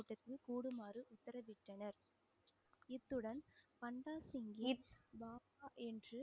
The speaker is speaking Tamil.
இத்துடன் பண்டா சிங்கின் பாபா என்று